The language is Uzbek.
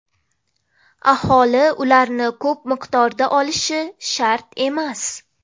Aholi ularni ko‘p miqdorda olishi shart emas.